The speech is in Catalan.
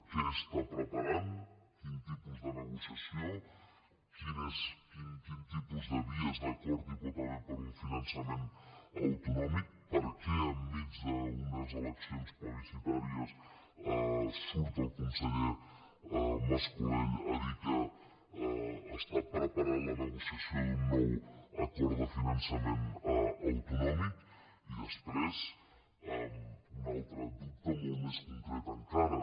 què prepara quin tipus de negociació quin tipus de vies d’acord hi pot haver per un finançament autonòmic per què enmig d’unes eleccions plebiscitàries surt el conseller mas colell a dir que prepara la negociació d’un nou acord de finançament autonòmic i després un altre dubte molt més concret encara